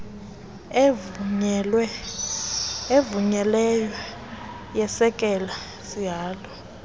evunyelweyo yesekela sihalo